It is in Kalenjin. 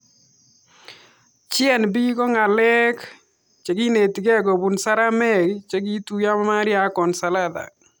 GNB ko ng'alek chekinetikei kopun saramek chekituyo Maria ak Consolata